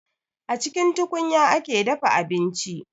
A cikin tukunya ake dafa abinci